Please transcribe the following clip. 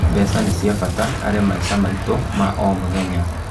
Mbeca nĩ cia bata harĩ maica maitũ ma o mũthenya.